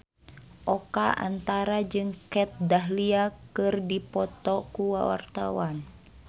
Oka Antara jeung Kat Dahlia keur dipoto ku wartawan